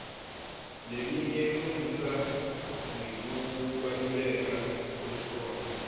leminye ifundzisa ngekubaluleka kwesikole